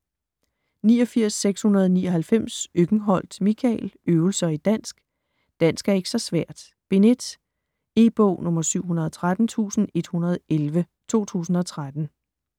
89.699 Øckenholt, Michael: Øvelser i dansk: Dansk er ikke så svært: Bind 1 E-bog 713111 2013.